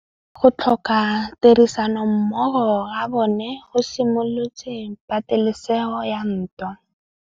Go tlhoka tirsanommogo ga bone go simolotse patêlêsêgô ya ntwa.